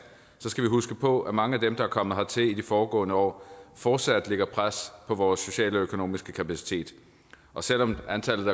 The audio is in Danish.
skal vi huske på at mange af dem der er kommet hertil i de foregående år fortsat lægger pres på vores sociale og økonomiske kapacitet og selv om antallet